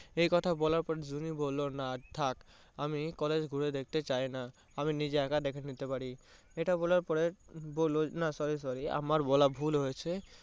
এই কথা বলার পর জুনি বললো না থাক। আমি college ঘুরে দেখতে চাইনা। আমি নিজে একা দেখে নিতে পারি। ইটা বলার পরে বললো না sorry sorry আমার বলা ভুল হয়েছে।